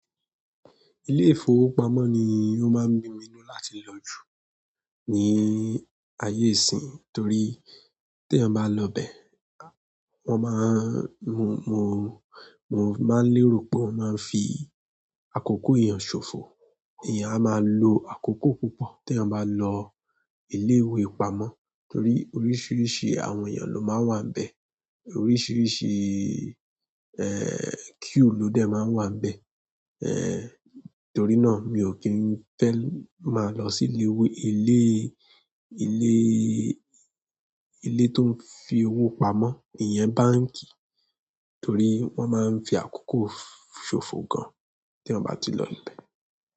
Ilé ìfowópamọ́ ni ó máa ń bí mi nínú láti lọ jù, ní ayé ìsínyi. Torí tí ẹ̀eyan bá lọ bẹ, wọ́n máa ń-- mo, mo, mo máa ń lérò po máa fi àkókò èèyàn ṣòfò. Eẹ̀yàn á máa lo àkókò púpọ̀ tí eeyan bá lọ ilé ìwé pamọ́ torí oríṣìíríṣìí àwọn èèyàn ló máa ń wà níbẹ̀. Oríṣìíríṣìí, eh, queue ló dẹ̀ máa ń wà níbẹ̀. Eh, torí náà mi ò kí ń fẹ́ máa lọ sí ilé ìwé-- ilé, ilé, ilé tó ń fi owó pamọ́, ìyẹn báǹkì torí wọ́n máa ń fi àkókò ṣòfò gan tí eeyan bá ti lọ ibẹ̀.